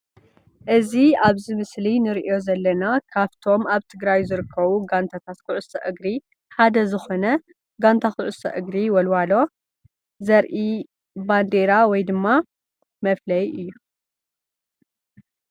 እዚ ኣብዚ ምስሊ ንሪኦ ዘለና ካብቶም ኣብ ትግራይ ዝርከቡ ጋንታት ኩዕሶ እግሪ ሓደ ዝኮነ ጋንታ ኩዕሶ እግሪ ወልዋሎ ዘርኢ ባንዴራ ወይ ድማ መፍለዩ እዩ ።